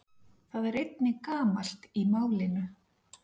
Það er einnig gamalt í málinu.